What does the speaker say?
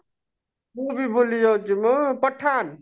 ମୁଁ ବି ଭୁଲି ଯାଉଛି ମ ପଠାନ